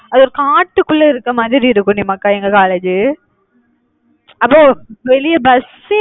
அது ஒரு காட்டுக்குள்ள இருக்க மாதிரி இருக்கும் டி மக்கா எங்க college உ அப்போ வெளியே பஸ்சே